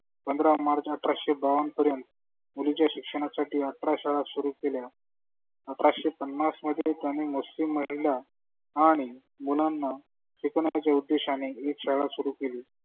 पंधरा मार्च आठराशे बावन्न पर्यंत मुलिंच्या शिक्षणासाठी आठरा शाळा सुरू केल्या. अठराशे पन्नस मध्ये त्यांनी मुसलीम महीला आणि मुलांना शिकवण्याच्या उद्देशाने एक शाळा सुरू केली.